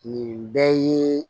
Nin bɛɛ ye